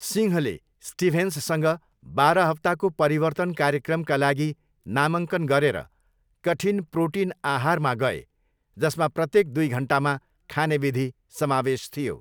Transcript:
सिंहले स्टिभेन्ससँग बाह्र हप्ताको परिवर्तन कार्यक्रमका लागि नामाङ्कन गरेर कठिन प्रोटिन आहारमा गए जसमा प्रत्येक दुई घन्टामा खाने विधि समावेश थियो।